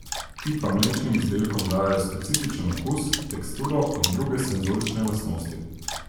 Ti pa mlečnim izdelkom dajejo specifičen okus, teksturo in druge senzorične lastnosti.